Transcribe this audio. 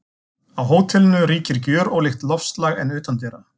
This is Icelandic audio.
Á hótelinu ríkir gjörólíkt loftslag en utandyra.